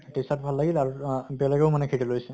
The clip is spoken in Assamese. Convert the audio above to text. এইটো shirt ভাল লাগিলে আৰু আহ বেলেগেও মানে সেইটো ললে